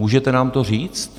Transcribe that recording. Můžete nám to říct?